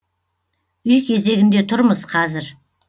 үй кезегінде тұрмыз қазір